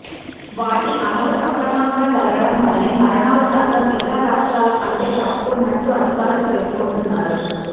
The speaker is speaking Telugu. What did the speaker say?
వాటి అమలు సక్రమంగా జరగడం వలనే మరణాలు శాతం ఇతర రాష్ట్రాల కంటే తక్కువున్నట్లు అధికారులు పేర్కొంటున్నారు